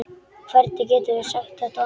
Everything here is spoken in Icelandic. Hvernig geturðu sagt þetta?